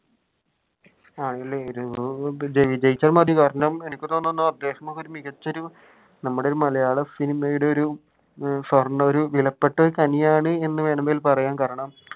ആണല്ലേ കാരണം എനിക്ക് തോന്നുന്നു നമ്മുടെ ഒരു മലയാള സിനിമയുടെ ഒരു വിലപ്പെട്ട ഖനി ആണെന് വേണമെങ്കിൽ പറയാം